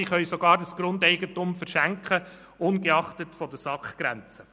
Sie können das Grundeigentum sogar verschenken – ungeachtet der SAK-Grenze.